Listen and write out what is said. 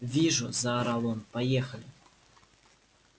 вижу заорал он поехали